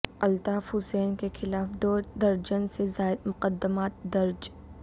الطاف حسین کے خلاف دو درجن سے زائد مقدمات درج